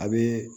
A bɛ